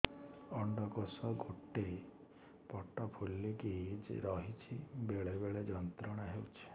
ଅଣ୍ଡକୋଷ ଗୋଟେ ପଟ ଫୁଲିକି ରହଛି ବେଳେ ବେଳେ ଯନ୍ତ୍ରଣା ହେଉଛି